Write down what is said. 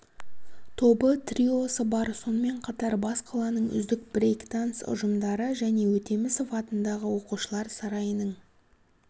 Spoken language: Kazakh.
тобы триосы бар сонымен қатар бас қаланың үздік брэйкданс ұжымдары және өтемісов атындағы оқушылар сарайының